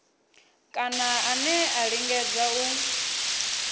kana ane a lingedza u